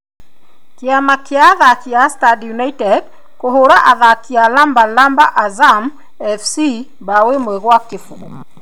Kĩama gĩa athaki a Stand United kũhũra athaki a lamba lamba Azam FC bao 1-0.